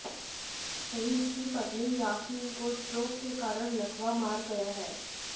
सईद की पत्नी यास्मीन को स्ट्रोक के कारण लकवा मार गया है